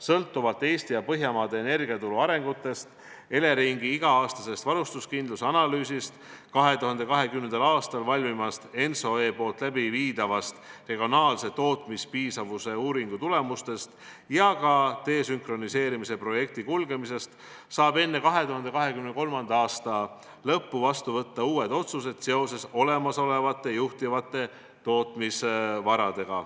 Sõltuvalt Eesti ja Põhjamaade energiaturu arengutest, Eleringi iga-aastasest varustuskindluse analüüsist, 2020. aastal valmiva ENTSO-E läbiviidava regionaalse tootmispiisavuse uuringu tulemustest ja ka desünkroniseerimise projekti kulgemisest saab enne 2023. aasta lõppu vastu võtta uued otsused, mis peavad silmas olemasolevaid põhilisi tootmisvarasid.